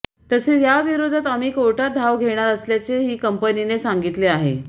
तसेच याविरोधात आम्ही कोर्टात धाव घेणार असल्याचेही कंपनीने सांगितले आहे